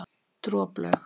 Droplaug